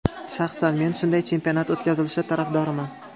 Shaxsan men shunday chempionat o‘tkazilishi tarafdoriman”.